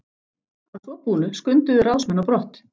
Að svo búnu skunduðu ráðsmenn á brott.